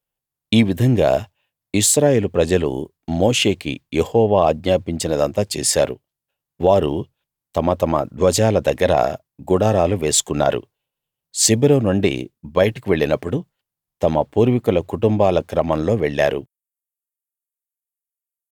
ఈ విధంగా ఇశ్రాయేలు ప్రజలు మోషేకి యెహోవా ఆజ్ఞాపించినదంతా చేసారు వారు తమ తమ ధ్వజాల దగ్గర గుడారాలు వేసుకున్నారు శిబిరం నుండి బయటకు వెళ్ళినప్పుడు తమ పూర్వీకుల కుటుంబాల క్రమంలో వెళ్ళారు